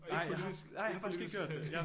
Og ikke politisk ikke politisk